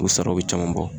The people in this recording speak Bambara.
U saraw bɛ caman bɔ